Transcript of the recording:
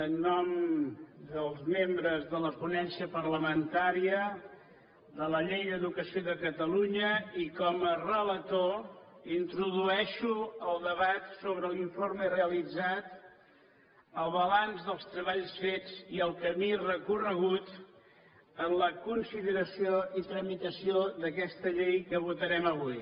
en nom dels membres de la ponència parlamentària de la llei d’educació de catalunya i com a relator introdueixo el debat sobre l’informe realitzat el balanç dels treballs fets i el camí recorregut en la consideració i tramitació d’aquesta llei que votarem avui